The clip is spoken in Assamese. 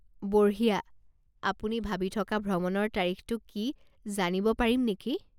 বঢ়িয়া! আপুনি ভাবি থকা ভ্ৰমণৰ তাৰিখটো কি জানিব পাৰিম নেকি?